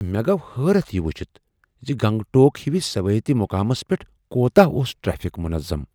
مےٚ گوٚو حیرت یہ ؤچھتھ ز گنگٹوک ہوِس سیاحتی مقامس پٮ۪ٹھ کوتاہ اوس ٹریفک منظم۔